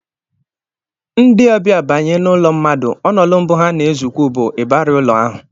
Ndị ọbịa banye n'ụlọ mmadụ, ọnụụlọ mbụ ha na-ezukwu bụ ịbarị ụlọ ahụ